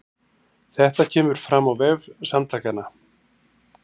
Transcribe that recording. Þetta kemur fram á vef Samtakanna